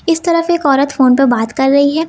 इस तरफ एक औरत फोन पे बात कर रही है।